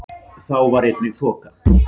Þá var einnig þoka